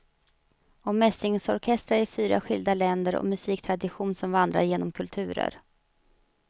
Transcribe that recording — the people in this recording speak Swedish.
Om mässingsorkestrar i fyra skilda länder och musiktradition som vandrar genom kulturer.